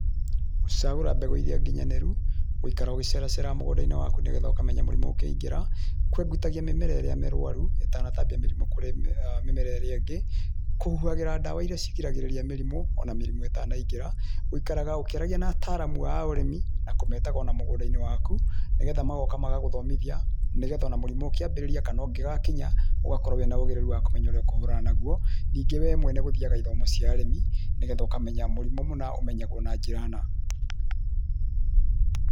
Gũcagũra mbegũ iria nginyanĩru, gũikaraga ũgĩceraceraga mũgũndainĩ waku nĩgetha ũkamenyaga mũrimũ ũkĩingĩra, kũengutagia mĩmera ĩrĩa mĩrũaru ĩtanataambia mĩrimũ kũrĩ mĩmera ĩrĩa ingĩ, kũhuhagĩra ndawa iria cigiragĩrĩria mĩrimũ ona mĩrimũ ĩtanaingĩra, gũikara ũkĩaragia na ataramu a ũrĩmi na kũmetaga ona mũgũndainĩ waku nĩgetha magoka magagũthomithia nĩgetha ona mũrimũ ũkĩambĩrĩria kana ũngĩgakinya ũgakorwo na ũhĩgĩrĩru wa kũmenya ũrĩa ũkũhũrana naguo, ningĩ we mwene ũgathiaga ithomo cia ũrĩmĩ nĩgetha ũkamenya mũrimũ mũna ũmenyagwo na njĩra na.